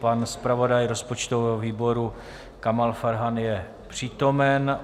Pan zpravodaj rozpočtového výboru Kamal Farhan je přítomen.